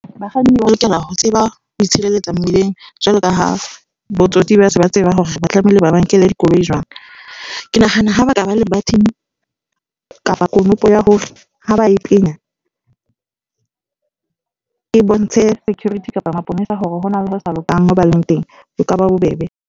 Bakganni ba lokela ho tseba ho itshireletsa mmileng jwalo ka ha botsotsi ba se ba tseba hore ba tlamehile ba ba nkele dikoloi jwang. Ke nahana ha ba ka ba le button kapa konopo ya hore ha ba e penya e bontshe security kapa maponesa hore hona le ho sa lokang mo ba leng teng, e ka ba bobebe.